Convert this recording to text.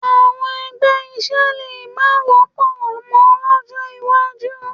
Àwọn ẹgbẹ́ iṣẹ́ lè má wọ́pọ̀ mọ́ lọ́jọ́ iwájú